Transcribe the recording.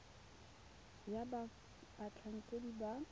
ya fa batlhankedi ba ka